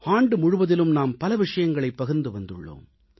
ஆண்டு முழுவதிலும் நாம் பல விஷயங்களைப் பகிர்ந்து வந்துள்ளோம்